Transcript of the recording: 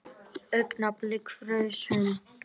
Augnablik fraus hún.